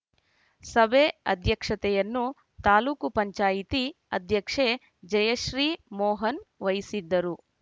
ಸಭೆ ಅಧ್ಯಕ್ಷತೆಯನ್ನು ತಾಲೂಕು ಪಂಚಾಯಿತಿ ಅಧ್ಯಕ್ಷೆ ಜಯಶ್ರೀ ಮೋಹನ್‌ ವಹಿಸಿದ್ದರು